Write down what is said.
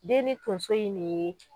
Den ni tonso in ne ye